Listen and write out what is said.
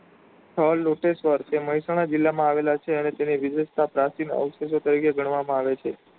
સ્થળ લોટેશ્વર જે મેહસાણા જિલ્લા માં આવેલો છે અને તેની વિશિષ્ટતા પ્રાચીન અવશેષો તરીકે ગણવામાં આવે છે.